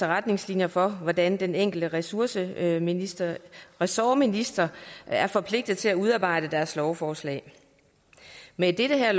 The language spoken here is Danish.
retningslinjer for hvordan den enkelte ressortminister ressortminister er forpligtet til at udarbejde deres lovforslag med det her